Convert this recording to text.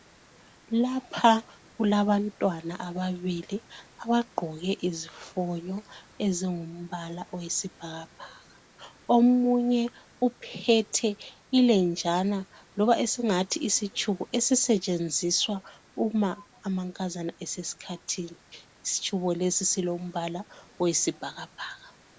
Lapha kulabantwana ababili abagqoke izifonyo ezingumbala oyisibhakabhaka. Omunye uphethe ilenjana loba singathi isitshubo esisetshenziswa uma amankazana esesikhathini. Isitshubo lesi silombala oyisibhakabhaka.